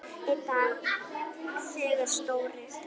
Einn dag þegar Stóri